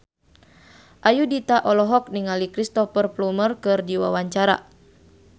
Ayudhita olohok ningali Cristhoper Plumer keur diwawancara